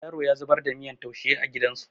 Yaro ya zubar da miyan taushe a gidan su